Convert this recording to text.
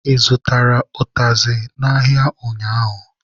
Ị zụtara ụtazị n'ahịa ụnyaahụ?.